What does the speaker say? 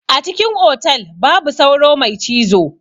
A cikin otal babu sauro mai cizo.